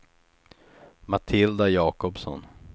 Matilda Jakobsson